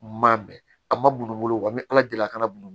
Maa bɛn a ma bunu wa n bɛ ala deli a kana bulu